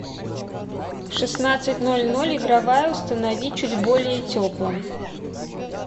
в шестнадцать ноль ноль игровая установи чуть более теплым